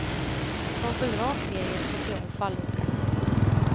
Som föll rakt ner i en social fallucka.